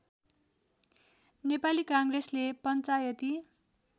नेपाली काङ्ग्रेसले पञ्चायती